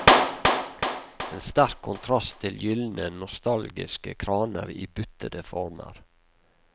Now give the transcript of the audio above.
En sterk kontrast til gyldne nostalgiske kraner i buttede former.